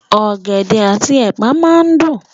Ọ̀gẹ̀dẹ̀ àti ẹ̀pà máa dùn.